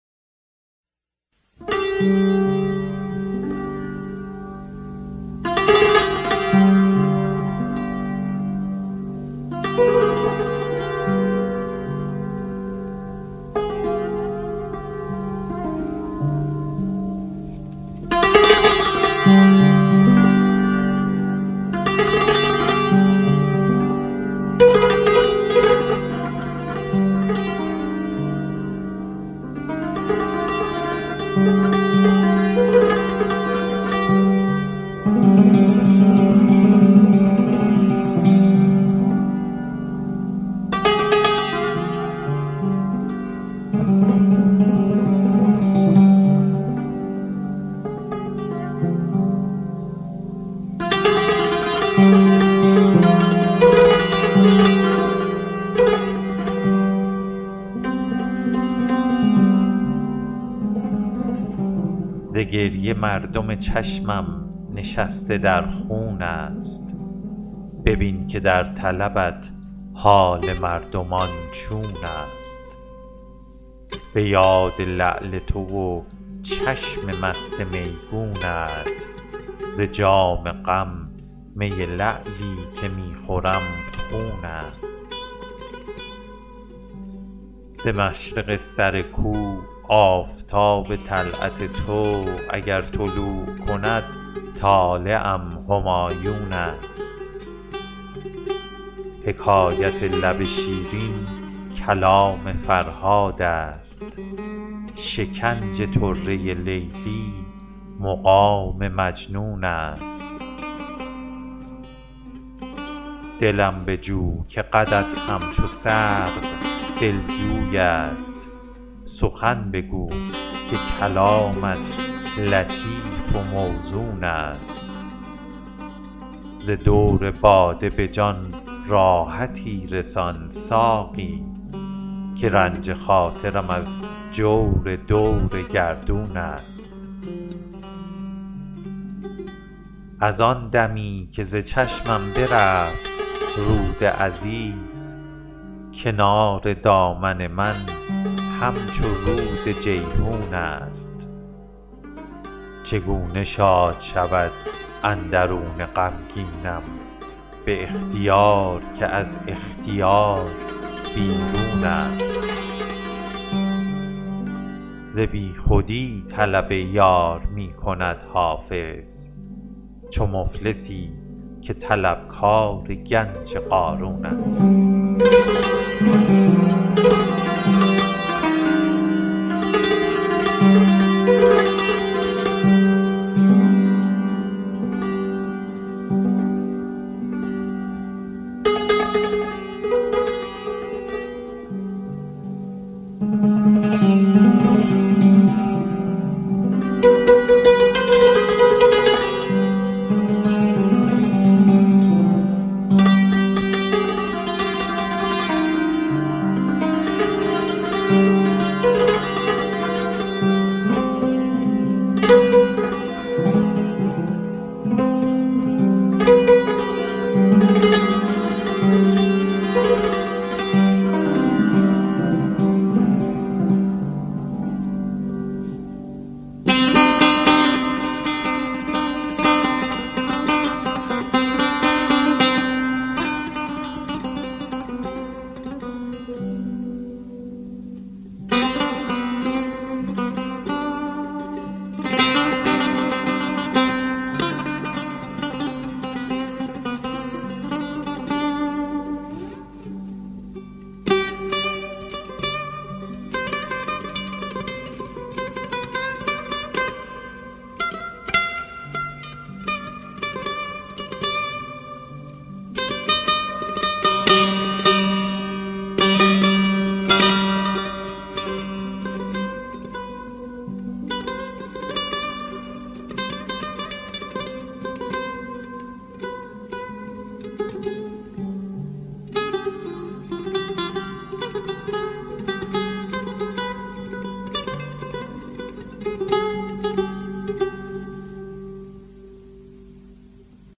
ز گریه مردم چشمم نشسته در خون است ببین که در طلبت حال مردمان چون است به یاد لعل تو و چشم مست میگونت ز جام غم می لعلی که می خورم خون است ز مشرق سر کو آفتاب طلعت تو اگر طلوع کند طالعم همایون است حکایت لب شیرین کلام فرهاد است شکنج طره لیلی مقام مجنون است دلم بجو که قدت همچو سرو دلجوی است سخن بگو که کلامت لطیف و موزون است ز دور باده به جان راحتی رسان ساقی که رنج خاطرم از جور دور گردون است از آن دمی که ز چشمم برفت رود عزیز کنار دامن من همچو رود جیحون است چگونه شاد شود اندرون غمگینم به اختیار که از اختیار بیرون است ز بیخودی طلب یار می کند حافظ چو مفلسی که طلبکار گنج قارون است